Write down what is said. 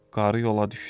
Qarı yola düşdü.